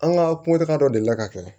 An ka kumata dɔ delila ka kɛ